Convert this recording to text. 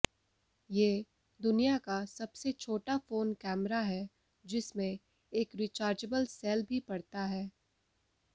ये दुनिया का सबसे छोटा फोन कैमरा है जिसमें एक रिचार्जेबल सेल भी पड़ता है